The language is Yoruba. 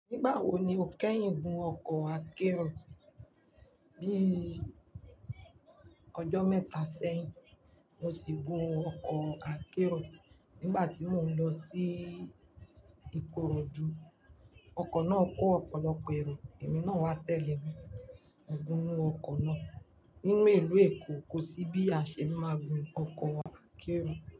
Nígbà wo ni o kẹ́yìn gun ọkọ̀ akérò? Bí i ọjọ́ mẹ́ta sẹ́yìn, mo sì gun ọkọ̀ akérò nígbà tí mò ń lọ sí Ikorodu. Ọkọ̀ náà kó ọ̀pọ̀lọpọ̀ èrò, èmi náà wá tẹ̀lé e, gùn inú ọkọ̀ náà. Nínú ìlú Èkó kò sí bí a ṣe ni máa gun ọkọ̀ akérò.